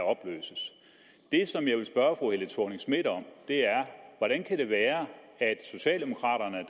opløses det som jeg vil spørge fru helle thorning schmidt om er hvordan kan det være at socialdemokraterne